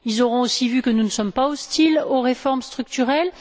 Ils auront vu aussi que nous ne sommes pas hostiles aux réformes structurelles.